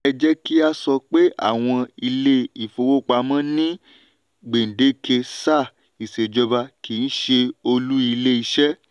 ẹ jẹ́ kí a sọ pé àwọn ilé-ìfowópamọ́ ni gbèdéke sáà ìṣèjọba kì í ṣe olú ilé-iṣẹ́.